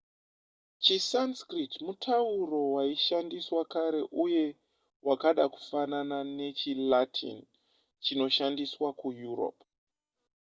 chisanskrit mutauro waishandiswa kare uye wakada kufanana nechilatin chinoshandiswa kueurope